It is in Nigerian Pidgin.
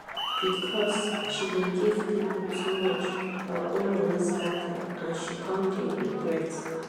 because she dey give people too much her own money scatter and she come dey regret.